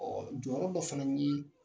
jɔyɔrɔ dɔ fana ye